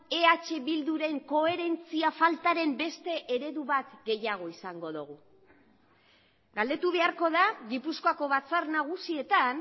eh bilduren koherentzia faltaren beste eredu bat gehiago izango dugu galdetu beharko da gipuzkoako batzar nagusietan